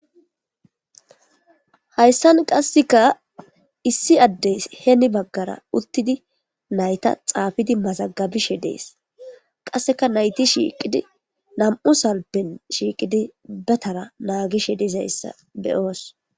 hayssan qasseka issi addey heeni baggara uttidi nayta xaafidi mazagabishe dees qasseka nayti shiiqidi nam'u salpen shiiqidi be tara naagishe dizayssa beyoos